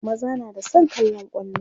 maza na da San kallan kwallo